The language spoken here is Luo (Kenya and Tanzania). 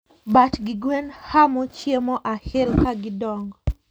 Bat gi gwen hamo chiemo ahiel kagidongo